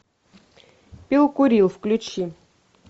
пил курил включи